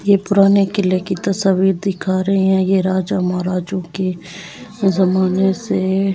ये पुराने किले की तस्वीर दिखा रहे हैं ये राजा महाराजों के जमाने से--